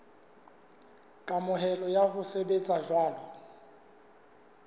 kamohelo ya ho sebetsa jwalo